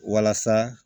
Walasa